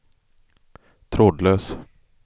trådlös